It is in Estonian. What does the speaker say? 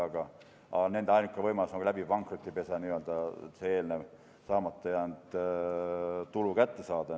Aga nende ainukene võimalus on pankrotipesa kaudu saamata jäänud tulu kätte saada.